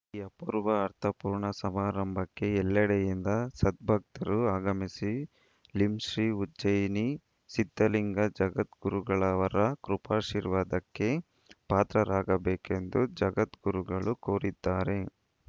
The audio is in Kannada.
ಈ ಅಪೂರ್ವ ಅರ್ಥಪೂರ್ಣ ಸಮಾರಂಭಕ್ಕೆ ಎಲ್ಲೆಡೆಯಿಂದ ಸದ್ಭಕ್ತರು ಆಗಮಿಸಿ ಲಿಂ ಶ್ರೀ ಉಜ್ಜಯಿನಿ ಸಿದ್ಧಲಿಂಗ ಜಗದ್ಗುರುಗಳವರ ಕೃಪಾಶೀರ್ವಾದಕ್ಕೆ ಪಾತ್ರರಾಗಬೇಕೆಂದು ಜಗದ್ಗುರುಗಳು ಕೋರಿದ್ದಾರೆ